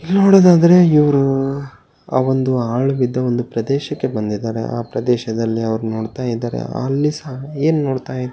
ಇಲ್ಲಿ ನೋಡೋದಾದರೆ ಇವ್ರು ಹ ಒಂದು ಹಾಳು ಬಿದ್ದ ಒಂದು ಪ್ರದೇಶಕ್ಕೆ ಬಂದಿದ್ದಾರೆ ಆ ಪ್ರದೇಶದಲ್ಲಿ ಅವರು ನೋಡ್ತಾ ಇದ್ದಾರೆ ಅಲ್ಲಿ ಏನು ನೋಡ್ತಾ ಇದ್ದಾರೆ.